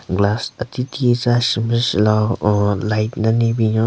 Glass ati tie tsü a shun pe shü lao ounn light den le binyon.